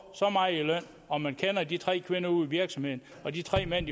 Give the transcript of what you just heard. så meget i løn og man kender de tre kvinder ude i virksomheden og de tre mænd